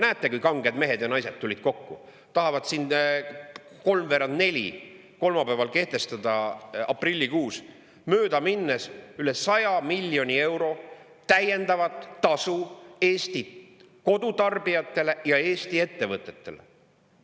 Näete, kui kanged mehed ja naised tulid kokku, tahavad siin kolmveerand 4 kolmapäeval kehtestada aprillikuus, mööda minnes üle 100 miljoni euro täiendavat tasu Eestit kodutarbijatele ja Eesti ettevõtetele!